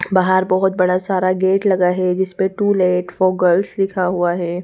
बाहर बहुत बड़ा सारा गेट लगा है जिस पे टू-लेट फॉर गर्ल्स लिखा हुआ है।